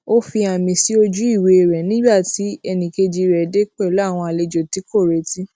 ó fi àmì sí ojú ìwé rè nígbà tí ẹnì kejì rè dé pèlú àwọn àlejò tí kò retí